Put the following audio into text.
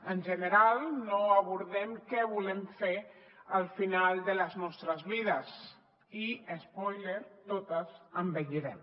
en general no abordem què volem fer al final de les nostres vides i espòiler totes envellirem